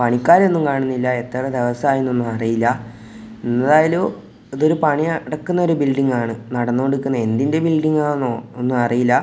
പണിക്കാരെയൊന്നും കാണുന്നില്ല എത്ര ദിവസമായെന്നൊന്നും അറിയില്ല എന്നായാലും ഇത് ഒരു പണി നടക്കുന്ന ഒരു ബിൽഡിംഗ് ആണ് നടന്നോണ്ടിരിക്കുന്ന എന്തിൻ്റെ ബിൽഡിംഗ് ആന്നോ ഒന്നും അറീല.